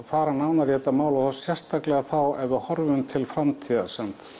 fara nánar í þetta mál og þá sérstaklega þá ef við horfum til framtíðar